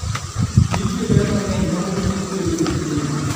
Nitie ber mang'eny ma mor kich kelo e chiemo.